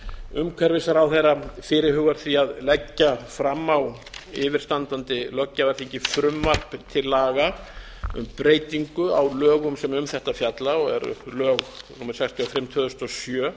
umhverfisráðherra fyrirhugar því að leggja fram á yfirstandandi löggjafarþingi frumvarp til laga um breytingu á lögum sem um þetta fjall og eru lög númer sextíu og fimm tvö þúsund og sjö